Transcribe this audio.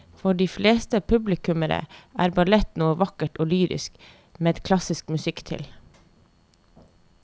For de fleste publikummere er ballett noe vakkert og lyrisk med klassisk musikk til.